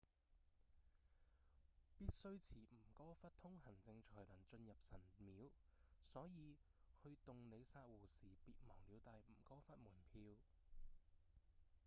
必須持吳哥窟通行證才能進入神廟所以去洞里薩湖時別忘了帶吳哥窟門票